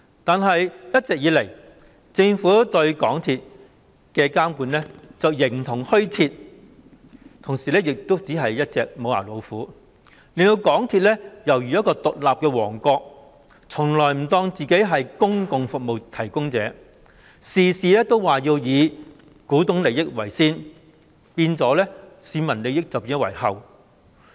但是，一直以來，政府對港鐵公司的監管形同虛設，同時亦只是一隻"無牙老虎"，令港鐵公司猶如一個獨立的王國，從來不當自己是公用服務提供者，事事只以股東的利益為先，變相置市民利益於後。